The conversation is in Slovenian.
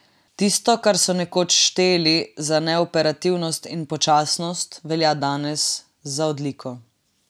Tisto, kar so nekoč šteli za neoperativnost in počasnost, velja danes za odliko.